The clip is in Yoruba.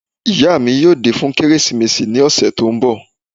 Ìyá mi yóò dé fún Kérésìmesì ní ọ̀sẹ̀ tí ó ń bọ̀